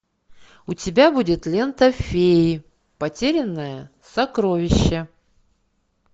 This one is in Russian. у тебя будет лента феи потерянное сокровище